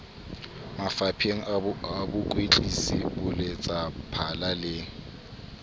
mafapheng a bokwetlisi boletsaphala le